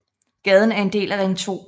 Gaden er en del af Ring 2